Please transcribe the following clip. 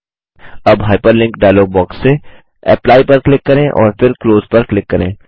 अब hyperlink dialog box से apply पर क्लिक करें और फिर क्लोज पर क्लिक करें